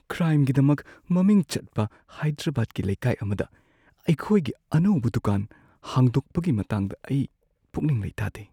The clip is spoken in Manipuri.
ꯀ꯭ꯔꯥꯏꯝꯒꯤꯗꯃꯛ ꯃꯃꯤꯡ ꯆꯠꯄ ꯍꯥꯏꯗ꯭ꯔꯕꯥꯗꯀꯤ ꯂꯩꯀꯥꯏ ꯑꯃꯗ ꯑꯩꯈꯣꯏꯒꯤ ꯑꯅꯧꯕ ꯗꯨꯀꯥꯟ ꯍꯥꯡꯗꯣꯛꯄꯒꯤ ꯃꯇꯥꯡꯗ ꯑꯩ ꯄꯨꯛꯅꯤꯡ ꯂꯩꯇꯥꯗꯦ꯫